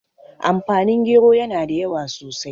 amfani gero yana da yawa sosai